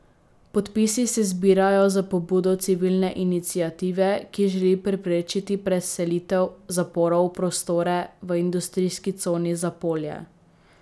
Podpisi se zbirajo na pobudo civilne iniciative, ki želi preprečiti preselitev zaporov v prostore v industrijski coni Zapolje.